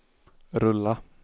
rulla